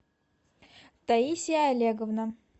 таисия олеговна